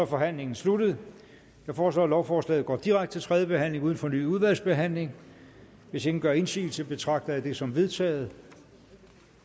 forhandlingen sluttet jeg foreslår at lovforslaget går direkte til tredje behandling uden fornyet udvalgsbehandling hvis ingen gør indsigelse betragter jeg det som vedtaget